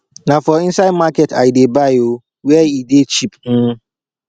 na for inside market i dey buy o where e dey cheap um